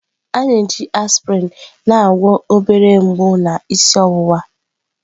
A na-eji aspịrịn na-agwọ obere mgbu na isi ọwụwa.